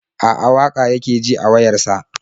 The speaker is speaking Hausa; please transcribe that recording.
A'a, waƙa yake ji a wayar sa.